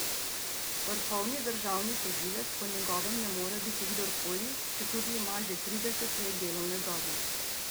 Vrhovni državni tožilec po njegovem ne more biti kdorkoli, četudi ima že trideset let delovne dobe.